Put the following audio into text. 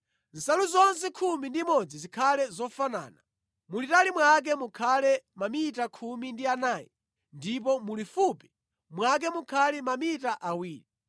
Nsalu zonse khumi ndi imodzi zikhale zofanana. Mulitali mwake mukhale mamita khumi ndi anayi ndipo mulifupi mwake mukhale mamita awiri.